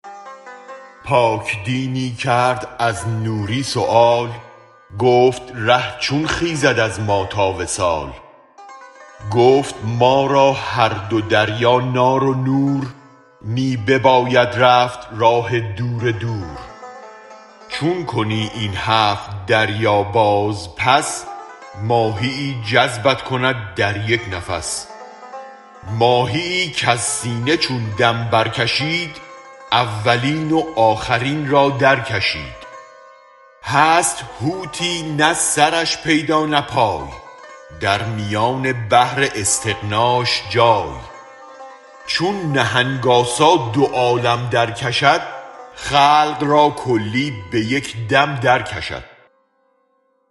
پاک دینی کرد از نوری سؤال گفت ره چون خیزد از ما تا وصال گفت ما را هر دو دریا نار و نور می بباید رفت راه دور دور چون کنی این هفت دریا باز پس ماهیی جذبت کند در یک نفس ماهیی کز سینه چون دم برکشید اولین و آخرین را درکشید هست حوتی نه سرش پیدا نه پای درمیان بحر استغناش جای چون نهنگ آسا دو عالم درکشد خلق را کلی به یک دم درکشد